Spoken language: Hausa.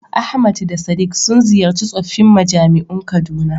Ahmad da Sadiq sun ziyarci tsoffin majami'un Kaduna.